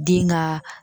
Den ka